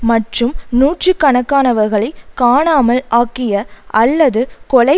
மற்றும் நூற்றுக்கணக்கானவர்களை காணாமல் ஆக்கிய அல்லது கொலை